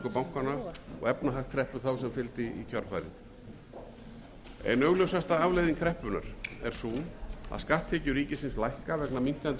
og efnahagskreppu þá sem fylgdi í kjölfarið ein augljósasta afleiðing kreppunnar er sú að skatttekjur ríkisins lækka vegna minnkandi umsvifa í